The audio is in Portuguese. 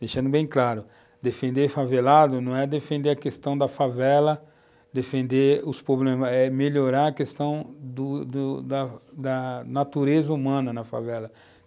Deixando bem claro, defender favelado não é defender a questão da favela, defender os problemas, é melhorar a questão do do da da natureza humana na favela.